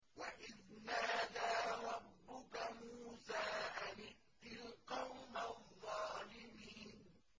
وَإِذْ نَادَىٰ رَبُّكَ مُوسَىٰ أَنِ ائْتِ الْقَوْمَ الظَّالِمِينَ